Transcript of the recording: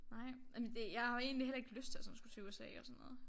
Nej jamen det jeg har jo egentlig heller ikke lyst til sådan at skulle til USA og sådan noget